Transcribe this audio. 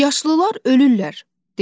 Yaşlılar ölürlər" dedim.